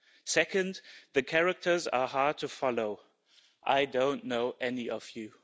Second, the characters are hard to follow I don't know any of you.